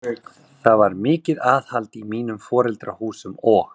Það var mikið aðhald í mínum foreldrahúsum og